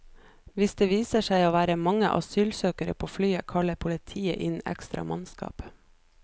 Hvis det viser seg å være mange asylsøkere på flyet, kaller politiet inn ekstra mannskap.